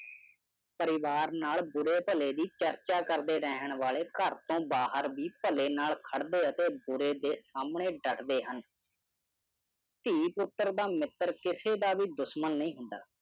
ਪਰਿਵਾਰ ਨਾਲ ਬੁਰੇ ਭਲੇ ਦੀ ਚਰਚਾ ਕਰਦੇ ਰਹਿਣ ਵਾਲੇ ਘਰ ਤੋਂ ਬਾਹਰ ਦੀ ਭਲੇ ਨਾਲ ਖੜਦੇ ਆ ਤੇ ਬੁਰੇ ਦੇ ਸਮਣੇ ਡਟਦੇ ਹਨ। ਧੀ ਪੁੱਤਰ ਦਾ ਮਿੱਤਰ ਕਿਸੇ ਦਾ ਵੀ ਦੁਸ਼ਮਣ ਨਹੀਂ ਹੁੰਦਾ।